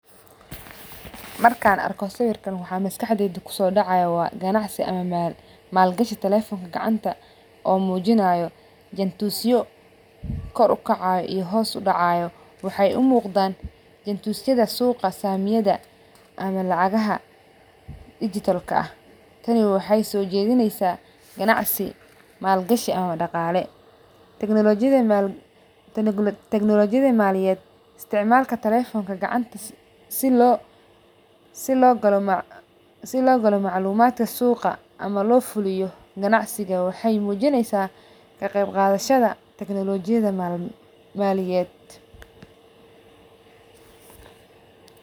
Markan arko waxa sawirka waxa maskaxdeyda kusodacayo wa ganacsi aama maalgashi telefonka gacanta oo mujinayo jentusyo koor ukacayo iyo kuwa hoos udacayo wexey umuqdan jentusyada suqa samiyada ama lacagaha dijitalka ah tani wexey soojedineysa ganacsi ama maalgashi daqale. Teknolojiyada maliyed isticmalka telefonka gacanta sii logalo maclumadka suqa ama lofuliyo gnacsiga wexey mujineysa kaqeyb qadashada teknolojiyada maliyad.